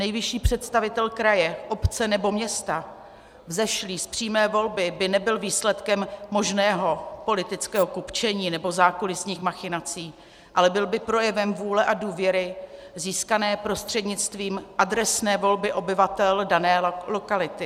Nejvyšší představitel kraje, obce nebo města vzešlý z přímé volby by nebyl výsledkem možného politického kupčení nebo zákulisních machinací, ale byl by projevem vůle a důvěry získané prostřednictvím adresné volby obyvatel dané lokality.